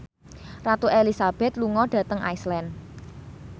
Ratu Elizabeth lunga dhateng Iceland